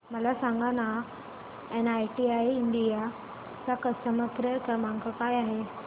मला सांगाना NIIT India चा कस्टमर केअर क्रमांक काय आहे